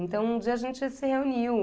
Então, um dia a gente se reuniu.